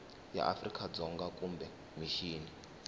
ya afrika dzonga kumbe mixini